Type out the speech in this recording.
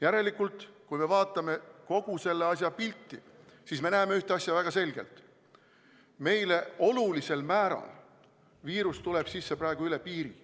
Järelikult, kui me vaatame kogu seda pilti, siis me näeme ühte asja väga selgelt: olulisel määral tuleb viirus meile sisse praegu üle piiri.